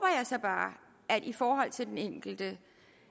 jeg bare i forhold til den enkelte